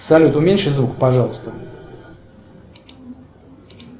салют уменьши звук пожалуйста